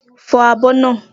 Fọ àbọ̀ naa!